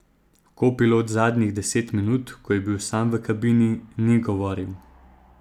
Kopilot zadnjih deset minut, ko je bil sam v kabini, ni govoril.